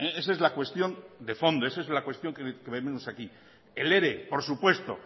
esa es la cuestión de fondo esa es la cuestión que venimos aquí el ere por supuesto